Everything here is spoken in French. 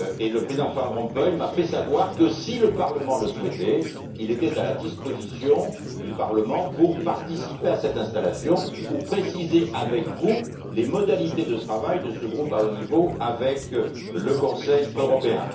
Le Président Van Rompuy m'a fait savoir que, si le Parlement le souhaitait, il était à sa disposition pour participer à cette installation, ou préciser avec vous les modalités de travail de ce groupe de haut niveau avec le Conseil européen.